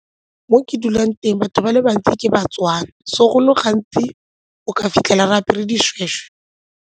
Mo ke dulang teng batho ba le bantsi ke ba-Tswana so go le gantsi o ka fitlhela re apere dishweshwe.